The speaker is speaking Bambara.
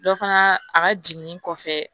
Dɔ fana a ka jiginni kɔfɛ